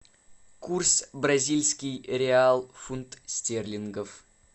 курс бразильский реал фунт стерлингов